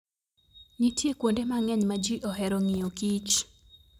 Nitie kuonde mang'eny ma ji ohero ng'iyo kich.